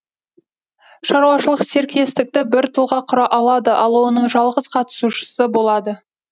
шаруашылық серіктестікті бір тұлға құра алады ол оның жалғыз қатысушысы болады